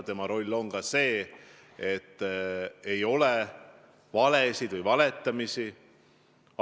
Tema roll on ka tagada, et ei oleks valetamist.